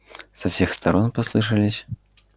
со всех сторон послышались